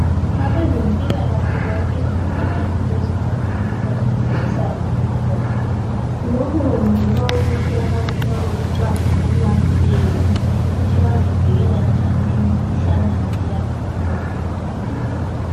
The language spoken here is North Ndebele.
Abezempilakahle babiza abantu bezoba fundisa ngemikhuhlane ekhona , lokhu kwenzelwa ukuthi abantu babe lolwazi olwaneleyo ukuthi bazivikela njani emikhuhlaneni eyabe ikhona.